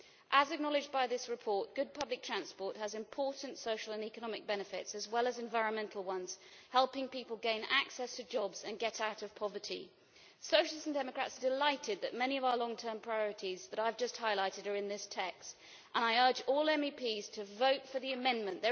As acknowledged by this report, good public transport has important social and economic benefits, as well as environmental ones, helping people gain access to jobs and get out of poverty. Socialists and Democrats are delighted that many of our long term priorities that I have just highlighted are in this text, and I urge all MEPs to vote for the amendment.